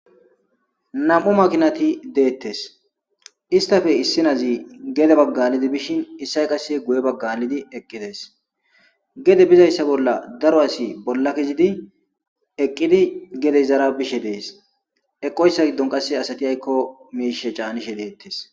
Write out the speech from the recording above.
nam7u makinati deettes istafe issinazi gede baggalidi bishin issay qasse guye baggalidi eqqidees gede bizayssa bolla daro asi bolla kizidi eqqidi gede zara bishe dees eqoyssa giddon qasse asati aykko miishe caanishe deettes